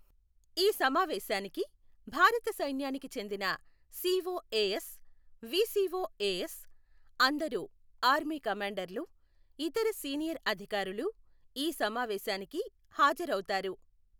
ఈ సమావేశానికి భారత సైన్యానికి చెందిన సిఒఎఎస్, విసిఒఎఎస్, అందరు ఆర్మీ కమాండర్లు, ఇతర సీనియర్ అధికారులు, ఈ సమావేశానికి హాజరవుతారు.